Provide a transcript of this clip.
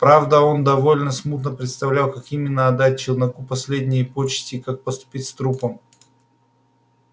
правда он довольно смутно представлял как именно отдать челноку последние почести и как поступить с трупом